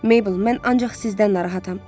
Meybl, mən ancaq sizdən narahatam.